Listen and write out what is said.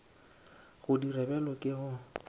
go dira bjalo ke go